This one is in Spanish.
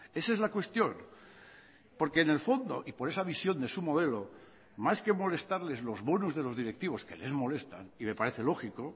esa es la cuestión porque en el fondo y por esa visión de su modelo más que molestarles los bonus de los directivos que les molestan y me parece lógico